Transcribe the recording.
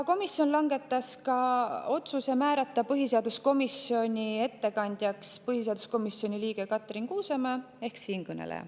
Komisjon langetas ka otsuse määrata põhiseaduskomisjoni ettekandjaks põhiseaduskomisjoni liige Katrin Kuusemäe ehk siinkõneleja.